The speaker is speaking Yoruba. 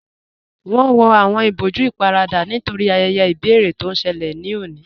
Wọn wọ awọn ìbọ̀jú íparadà nítorí ayẹyẹ ibẹ̀rẹ̀ tó n ṣẹlẹ̀ lọ́ní